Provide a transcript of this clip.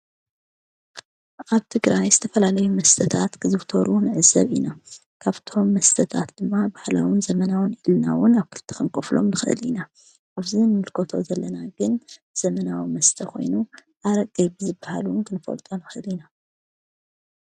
ኣብቲ ግራ ስተፈላለዩ መስተታት ክዝብተሩ ነእሰብ ኢና ካብቶም መስተታት ድማ ባህላዉን ዘመናውን ኢልናውን ኣብ ክልተ ኸንቈፍሎም ንኽል ኢና ኣፍዙ ምልኮቶ ዘለናግን ዘመናዊ መስተኾይኑ ኣረቀየብዝበሃሉን ክንፈልጦ ንኽድ ኢና።